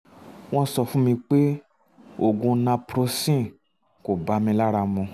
wọ́n sọ fún mi pé oògùn naproxen kò bá mi lára mu